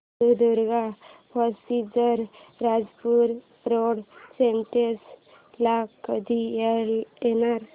Sindhudurg passenger Rajapur road station ला कधी येणार